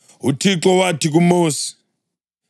UThixo wathi kuMosi: